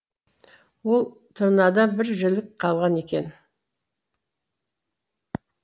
ол тырнадан бір жілік қалған екен